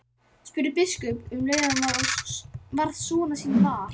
spurði biskup um leið og hann varð sonar síns var.